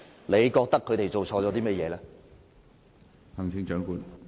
你覺得他們做錯了甚麼？